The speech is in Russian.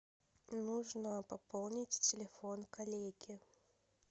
нужно пополнить телефон коллеги